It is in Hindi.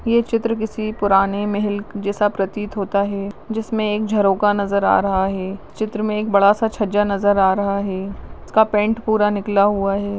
ये चित्र किसी पुराने महेल जैसा प्रतीत होता है जिसने एक झरोका नज़र आ रहा है चित्र में एक बड़ा सा छज्जा नज़र आ रहा है उसका पेंट पूरा निकला हुआ है।